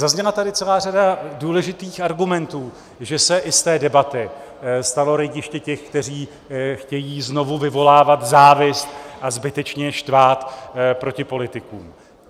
Zazněla tady celá řada důležitých argumentů, že se i z té debaty stalo rejdiště těch, kteří chtějí znovu vyvolávat závist a zbytečně štvát proti politikům.